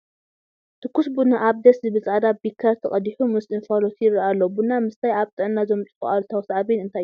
ትኩስ ቡና ኣብ ደስ ዝብል ፃዕዳ ቢከሪ ተቐዲሑ ምስ እንፋሎቱ ይርአ ኣሎ፡፡ ቡና ምስታይ ኣብ ጥዕና ዘምፅኦ ኣሉታዊ ሳዕቤን እንታይ እዩ?